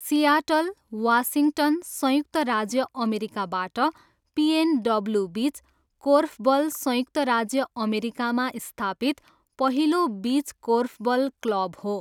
Seattle, Washington, संयुक्त राज्य अमेरिकाबाट पिएनडब्ल्यू बिच कोर्फबल संयुक्त राज्य अमेरिकामा स्थापित पहिलो बिच कोर्फबल क्लब हो।